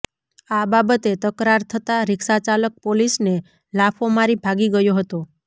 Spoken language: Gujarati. આ બાબતે તકરાર થતા રિક્ષાચાલક પોલીસને લાફો મારી ભાગી ગયો હતો